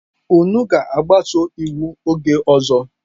Unu ga-agbaso iwu oge ọzọ.